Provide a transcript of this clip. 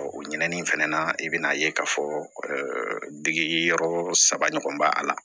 o ɲinɛni in fana na i bɛ n'a ye k'a fɔ degi yɔrɔ saba ɲɔgɔn bɛ a la